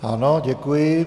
Ano, děkuji.